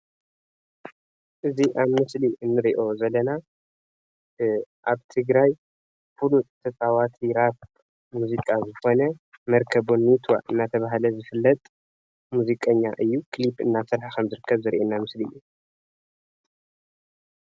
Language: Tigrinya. እዚ አብ ምስሊ እንሪኦ ዘለና አብ ትግራይ ፉሉጥ ተጫዋቲ ራፕ ሙዚቃ ዝኮነ መርከብ ቦኒታ እናተባህለ ዝፍለጥ ሙዚቀኛ እዩ ክሊፕ እናሰርሐ ከም ዝርከብ ዘሪኢና ምስሊ እዩ፡፡